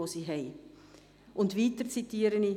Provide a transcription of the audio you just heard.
Des Weiteren zitiere ich: